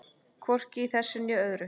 Hvorki í þessari né öðrum.